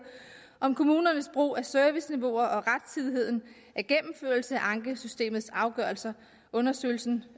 om kommunernes brug af serviceniveauer og rettidigheden af gennemførelse af ankesystemets afgørelser undersøgelsen